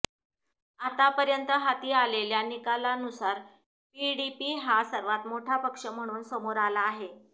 आतापर्यंत हाती आलेल्या निकालानुसार पीडीपी हा सर्वात मोठा पक्ष म्हणून समोर आला आहे